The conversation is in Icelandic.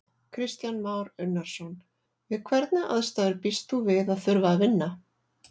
Kristján Már Unnarson: Við hvernig aðstæður býst þú við að þurfa að vinna?